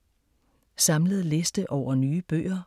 Samlet liste over nye bøger